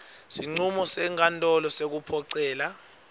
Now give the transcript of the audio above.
sincumo senkantolo sekuphocelela